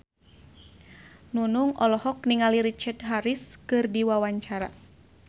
Nunung olohok ningali Richard Harris keur diwawancara